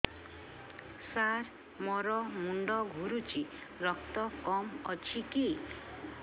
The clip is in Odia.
ସାର ମୋର ମୁଣ୍ଡ ଘୁରୁଛି ରକ୍ତ କମ ଅଛି କି